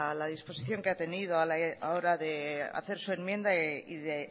la disposición que ha tenido a la hora de hacer su enmienda y de